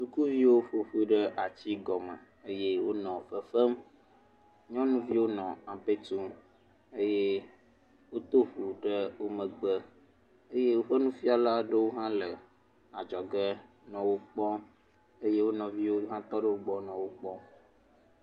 Sukuviwo ƒoƒu ɖe ati gɔmɔ eye wonɔ fefem, nyɔnuviwo nɔ ampe tum eye woto flu ɖe wo megbe, eye woƒe nufiala aɖewo hã le adzɔge le wo kpɔm eye wo nɔeviwo va tɔ ɖe wo gbɔ nɔ wo kpɔm.